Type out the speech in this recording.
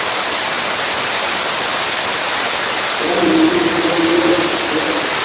একটা মিষ্টির দোকান খুললেও ভালো ঠিক আছে